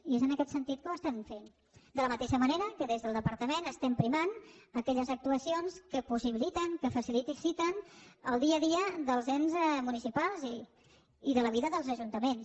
i és en aquest sentit que ho estem fent de la mateixa manera que des del departament estem primant aquelles actuacions que possibiliten que faciliten el dia a dia dels ens municipals i de la vida dels ajuntaments